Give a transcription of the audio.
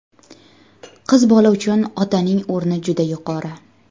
Qiz bola uchun otaning o‘rni juda yuqori.